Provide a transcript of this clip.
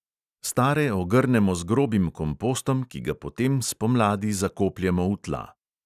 Stare ogrnemo z grobim kompostom, ki ga potem spomladi zakopljemo v tla.